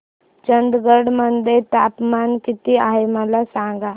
चंदगड मध्ये तापमान किती आहे मला सांगा